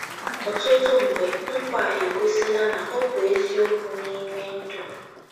Ọtụtụ mgbe, nkwa a egosila na ọ bụ eziokwu n’ime ndụ m.